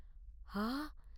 ஆ!